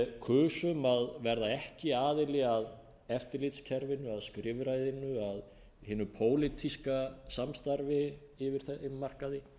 kusum að verða ekki aðili að eftirlitskerfinu af skrifræðinu að hinu pólitíska samstarfi yfir þeim markaði